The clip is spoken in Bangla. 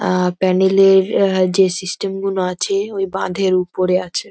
আহ প্যানেল -এর যে সিস্টেম গুলো আছে ওই বাঁধের উপরে আছে ।